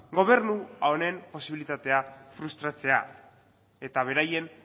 gobernu honen posibilitatea frustratzea eta beraien